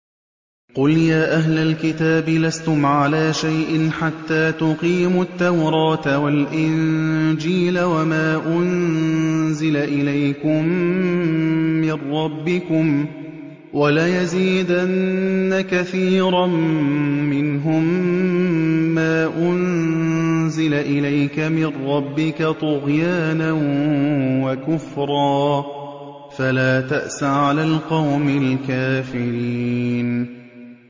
قُلْ يَا أَهْلَ الْكِتَابِ لَسْتُمْ عَلَىٰ شَيْءٍ حَتَّىٰ تُقِيمُوا التَّوْرَاةَ وَالْإِنجِيلَ وَمَا أُنزِلَ إِلَيْكُم مِّن رَّبِّكُمْ ۗ وَلَيَزِيدَنَّ كَثِيرًا مِّنْهُم مَّا أُنزِلَ إِلَيْكَ مِن رَّبِّكَ طُغْيَانًا وَكُفْرًا ۖ فَلَا تَأْسَ عَلَى الْقَوْمِ الْكَافِرِينَ